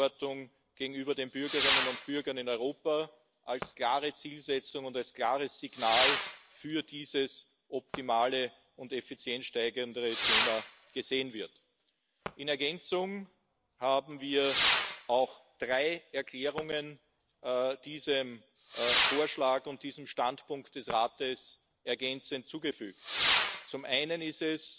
Auch bei anderen Programmen wie COSME oder Erasmus sind die Ansätze und die Vorschläge des Rates für uns erfreulich und zukunftsweisend. Wir bauen darauf, dass wir in den nächsten Wochen den Zeitrahmen einhalten. Es ist der letzte Haushaltsvorschlag, der von diesem Parlament zu beraten und zu entscheiden